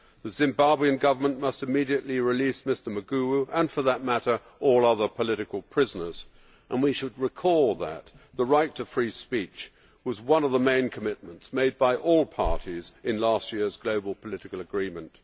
The Zimbabwean Government must immediately release Mr Maguwu and, for that matter, all other political prisoners, and we should recall that the right to free speech was one of the main commitments made by all parties in last year's global political agreement.